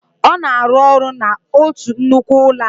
Ọ na-arụ ọrụ n'otu nnukwu ụlọakụ